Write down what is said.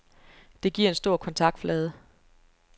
Det gir en stor kontaktflade.